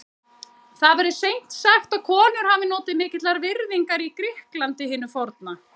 Það verður seint sagt að konur hafi notið mikillar virðingar í Grikklandi hinu forna.